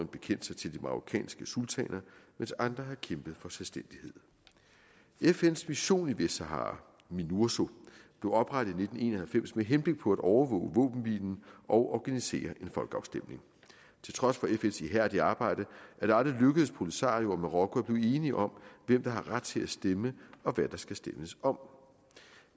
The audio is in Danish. bekendt sig til de marokkanske sultaner mens andre har kæmpet for selvstændighed fns mission i vestsahara minurso blev oprettet i nitten en og halvfems med henblik på at overvåge våbenhvilen og organisere en folkeafstemning til trods for fns ihærdige arbejde er det aldrig lykkedes polisario og marokko at blive enige om hvem der har ret til at stemme og hvad der skal stemmes om